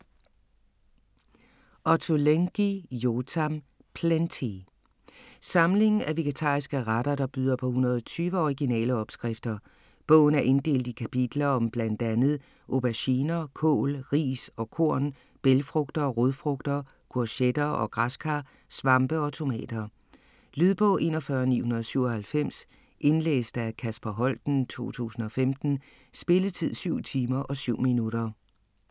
Ottolenghi, Yotam: Plenty Samling af vegetariske retter der byder på 120 originale opskrifter. Bogen er inddelt i kapitler om bl.a. auberginer, kål, ris og korn, bælgfrugter, rodfrugter, courgetter og græskar, svampe og tomater. Lydbog 41997 Indlæst af Kasper Holten, 2015. Spilletid: 7 timer, 7 minutter.